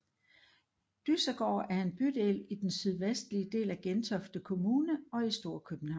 Dyssegård er en bydel i den sydvestlige del af Gentofte Kommune og i Storkøbenhavn